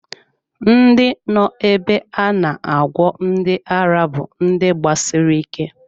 Ndị nọ ebe a na-agwọ ndi ara bú ndị gbasiri ike